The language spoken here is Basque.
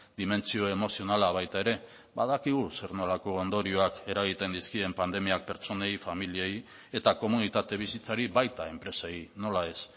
dimentsio emozionala baita ere badakigu zer nolako ondorioak eragiten dizkien pandemiak pertsonei familiei eta komunitate bizitzari baita enpresei nola ez